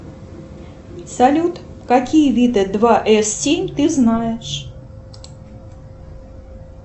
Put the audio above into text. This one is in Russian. салют какие виды два эс семь ты знаешь